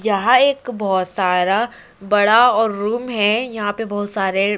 यहा एक बोहोत सारा बड़ा और रूम हे यहा पे बोहोत सारे--